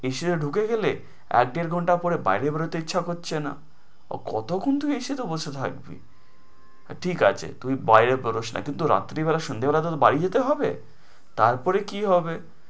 AC তে ঢুকে গেলে আর এক দেড় ঘন্টা পরে বাইরে যেতে ইচ্ছা করছে না। কতক্ষণ তুই AC বসে থাকবি? না ঠিক আছে তুই বাইরে বেরস না, কিন্তু রাত্রে বেলা সন্ধাবেলা বাড়ি যেতে হবে? তার পরে কি হবে?